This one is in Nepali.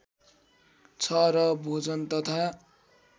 छ र भोजन तथा